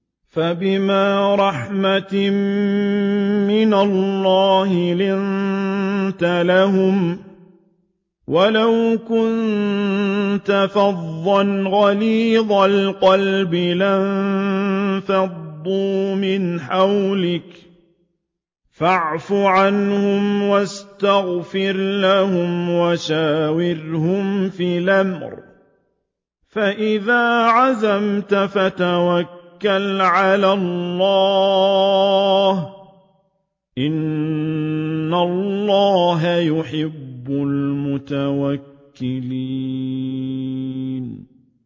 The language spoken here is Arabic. فَبِمَا رَحْمَةٍ مِّنَ اللَّهِ لِنتَ لَهُمْ ۖ وَلَوْ كُنتَ فَظًّا غَلِيظَ الْقَلْبِ لَانفَضُّوا مِنْ حَوْلِكَ ۖ فَاعْفُ عَنْهُمْ وَاسْتَغْفِرْ لَهُمْ وَشَاوِرْهُمْ فِي الْأَمْرِ ۖ فَإِذَا عَزَمْتَ فَتَوَكَّلْ عَلَى اللَّهِ ۚ إِنَّ اللَّهَ يُحِبُّ الْمُتَوَكِّلِينَ